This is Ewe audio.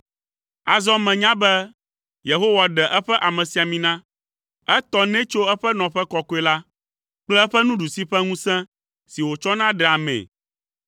Azɔ menya be Yehowa ɖe eƒe amesiamina, etɔ nɛ tso eƒe nɔƒe kɔkɔe la kple eƒe nuɖusi ƒe ŋusẽ, si wòtsɔna ɖea amee.